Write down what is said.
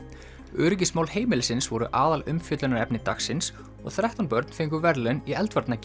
öryggismál heimilisins voru aðalumfjöllunarefni dagsins og þrettán börn fengu verðlaun í